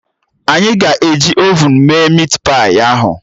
Anyị ga-eji ovun mee mit pai ahụ